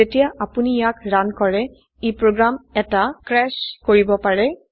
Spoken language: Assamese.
যেতিয়া আপোনি ইয়াক ৰান কৰে ই প্ৰোগ্ৰাম এটা ক্ৰাশ কৰিব পাৰে